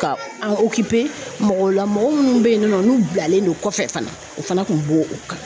Ka an mɔgɔw la mɔgɔ munnu bɛ yenni nɔ n'u bilalen do kɔfɛ fana o fana kun b'o o kɔnɔ.